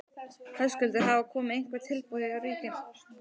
Höskuldur: Hafa komið einhver tilboð frá ríkinu?